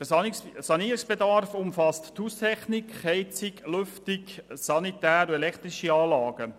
Der Sanierungsbedarf umfasst Haustechnik, Heizung, Lüftung, Sanitär- und elektrische Anlagen.